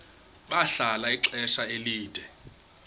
bahlala ixesha elide